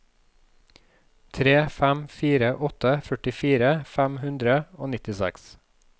tre fem fire åtte førtifire fem hundre og nittiseks